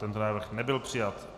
Tento návrh nebyl přijat.